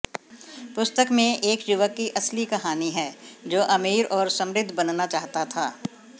पुस्तक में एक युवक की असली कहानी है जो अमीर और समृद्ध बनना चाहता था